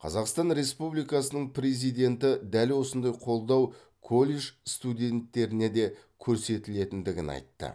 қазақстан республикасының президенті дәл осындай қолдау колледж студенттеріне де көрсетілетіндігін айтты